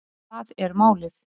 Það er málið